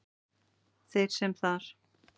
Þeir sem þar